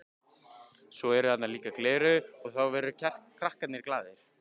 Svo eru þarna líka gleraugu og þá verða krakkarnir glaðir.